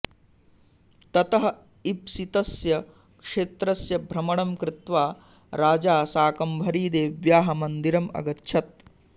ततः ईप्सितस्य क्षेत्रस्य भ्रमणं कृत्वा राजा शाकम्भरीदेव्याः मन्दिरम् अगच्छत्